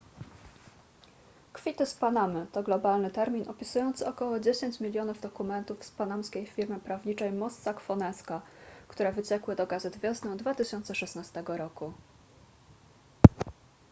kwity z panamy to globalny termin opisujący około dziesięć milionów dokumentów z panamskiej firmy prawniczej mossack fonesca które wyciekły do gazet wiosną 2016 roku